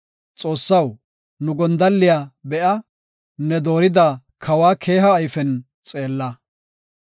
Xoossaw, nu gondalliya be7a; ne doorida kawa keeha ayfen xeella.